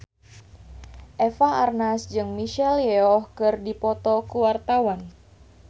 Eva Arnaz jeung Michelle Yeoh keur dipoto ku wartawan